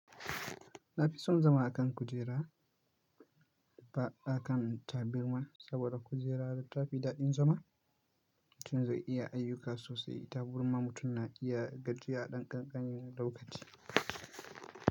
Na fi son zama a kan kujera ba a kan tabarma saboda kujera tafi daɗin zama. Mutum zai iya ayyuka sosai ita burma mutum na iya gajiyar ɗan ƙanƙani na lokaci.